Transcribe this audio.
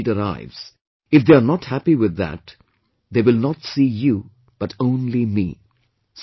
And when your mark sheet arrives, if they are not happy with that, they will not see you but only me